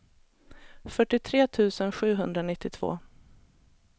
fyrtiotre tusen sjuhundranittiotvå